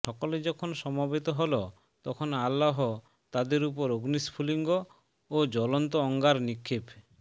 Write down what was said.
সকলে যখন সমবেত হল তখন আল্লাহ তাদের উপর অগ্নিস্ফুলিঙ্গ ও জুলন্ত অঙ্গার নিক্ষেপ